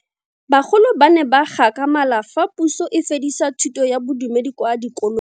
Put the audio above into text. Bagolo ba ne ba gakgamala fa Pusô e fedisa thutô ya Bodumedi kwa dikolong.